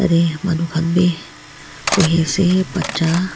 jatte manu khan bhi bohe ase batcha--